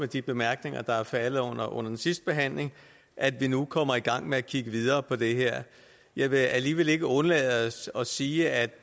de bemærkninger der er faldet under den sidste behandling at vi nu kommer i gang med at kigge videre på det her jeg vil alligevel ikke undlade at sige at